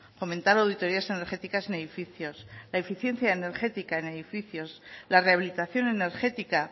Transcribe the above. fomentar auditorías energéticas en edificios la eficiencia energética en edificios la rehabilitación energética